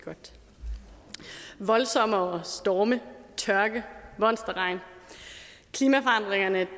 voldsommere storme tørke monsterregn klimaforandringerne